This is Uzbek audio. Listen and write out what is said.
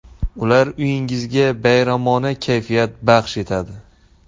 Ular uyingizga bayramona kayfiyat baxsh etadi.